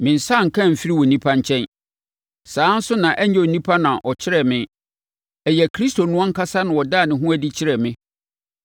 Me nsa anka amfiri onipa nkyɛn. Saa ara nso na ɛnyɛ onipa na ɔkyerɛɛ me. Ɛyɛ Kristo no ankasa na ɔdaa no adi kyerɛɛ me.